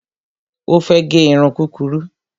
Ó fẹ́ gẹ irun kúrurú